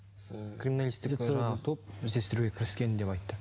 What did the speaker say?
ы криминалистік топ іздестіруге кіріскен деп айтты